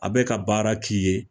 A bɛ ka baara k'i ye